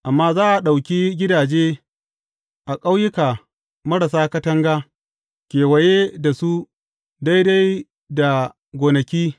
Amma za a ɗauki gidaje a ƙauyuka marasa katanga kewaye da su daidai da gonaki.